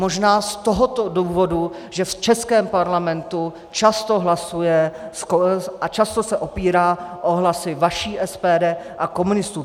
Možná z tohoto důvodu, že v českém Parlamentu často hlasuje a často se opírá o hlasy vaší SPD a komunistů.